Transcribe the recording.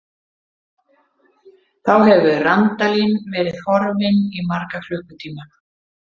Þá hefur Randalín verið horfin í marga klukkutíma.